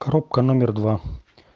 коробка номер два